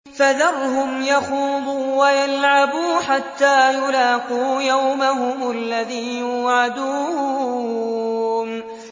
فَذَرْهُمْ يَخُوضُوا وَيَلْعَبُوا حَتَّىٰ يُلَاقُوا يَوْمَهُمُ الَّذِي يُوعَدُونَ